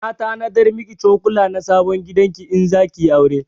Na tanadar miki cokula na sabon gidan ki in zaki yi aure